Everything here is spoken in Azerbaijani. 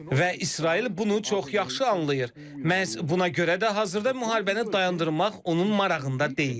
Və İsrail bunu çox yaxşı anlayır, məhz buna görə də hazırda müharibəni dayandırmaq onun marağında deyil.